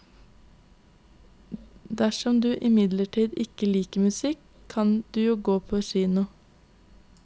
Dersom du imidlertid ikke liker musikk, kan du jo gå på kino.